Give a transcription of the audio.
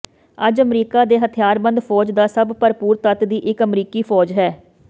ਅੱਜ ਅਮਰੀਕਾ ਦੇ ਹਥਿਆਰਬੰਦ ਫੌਜ ਦਾ ਸਭ ਭਰਪੂਰ ਤੱਤ ਦੀ ਇਕ ਅਮਰੀਕੀ ਫੌਜ ਹੈ